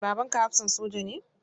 Babanka hafsan soja ne?